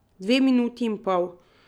Dve minuti in pol.